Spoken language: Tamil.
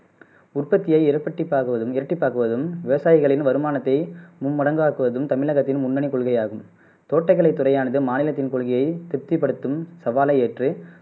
உற்பத்தியை இரப்பட்டிபாகுவது இரட்டிப்பாக்குவதும் விவசாயிகளின் வருமானத்தை மும்மடங்காக்குவதும் தமிழகத்தின் முன்னனி கொள்கையாகும் தோட்டக்கலை துறையானது மாநிலத்தின் கொள்கையை திருப்திப் படுத்தும் சவாலை ஏற்று